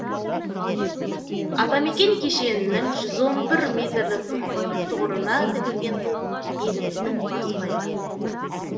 атамекен кешенінің жүз он бір метрлік тұғырына тігілген ту еліміздің бас байрағы